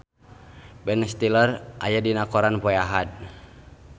Ben Stiller aya dina koran poe Ahad